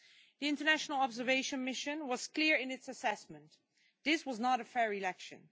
The international observation mission was clear in its assessment this was not a fair election.